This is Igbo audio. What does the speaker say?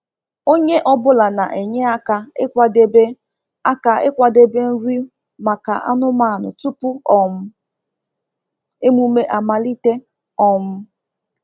Onye ọ bụla na-enye aka ịkwadebe aka ịkwadebe nri maka anụmanụ tupu um emume amalite. um